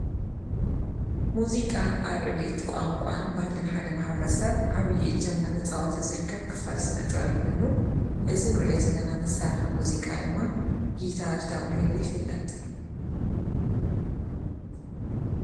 ሙዚቃ ኣብ ዕብየት ቛንቋን ባህልእን ሓደ መሃብረ ሰብ ዓብዪ ጀምና ተጸዖተዝርከብ ክፈል ስነ-ጥበ ብኮይኑ እዝ ንርኦ ዘለናመሳርፈ ሙዚቃ ድማ ጊታ ተበቃሂሉ ይፍለጥ።